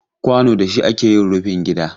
Kwano da shi ake yin rufin gida.